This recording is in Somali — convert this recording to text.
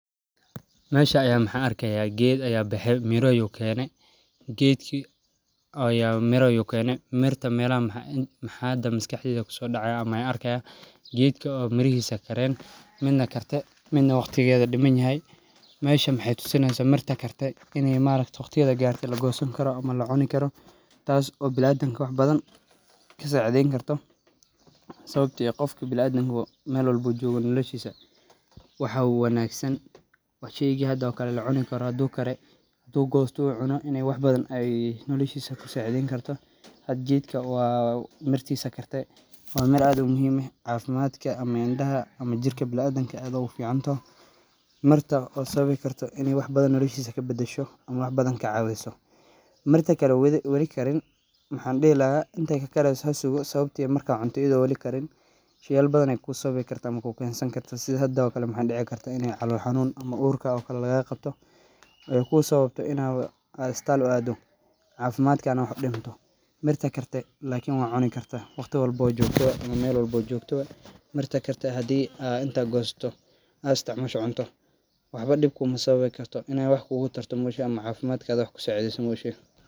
Meeshan aya waxan arkaya ged aya bexe miro ayu kene mirta waxa maskaxdeyda kusodacaya mirto oo karte midna waqtigeda wali yahay. Mirta karte waqtigeda garte oo lagosani karo oo lacuni karo tas oo biniadanka wax badan kasacidani karta sawabto biniadanka meel walbo uu jogo waxa ufican sheyga hda oo kale oo kare oo lacuni karo pintu gosto uu cuno in uu wax badan kasacideyni karo oo mirtisa karte wa meel aad uu muhiim eh cafimadka ama indaha ama jirka biniadanka oo sawabi karto in badan nolashisa kabadasho oo kacawiso mida kale oo wali karin waxan dihi laha hasugo inte kakari sawabto ah waxyalo badan ayey kusawabi karta oodib kukensani karta oo hado kale calol xanuun ayey kusawabi karta marka aad iistal uu ado oo cafimadka wax udinto mirta karte wad cuni karta marwlbo iyo meel walbo ad jogto mirta karte hadi ad inta gosato sd cunto waxbo dib kumasawabi karto in ey wax kugutarto ama cafimadka wax kusokordiso moye.